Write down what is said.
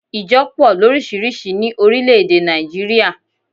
Ìjo po lórísírìsí ní orílé èdè Nàìjíríà